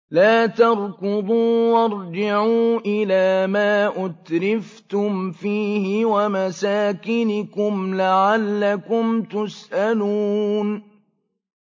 لَا تَرْكُضُوا وَارْجِعُوا إِلَىٰ مَا أُتْرِفْتُمْ فِيهِ وَمَسَاكِنِكُمْ لَعَلَّكُمْ تُسْأَلُونَ